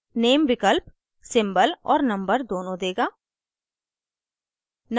name विकल्प symbol और number दोनों देगा